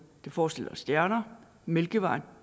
det forestiller stjerner mælkevejen